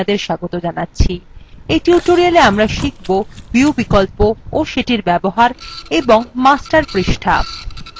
এই টিউটোরিয়ালে আমরা শিখব : view বিকল্প ও সেটির ব্যবহার এবং master পৃষ্ঠা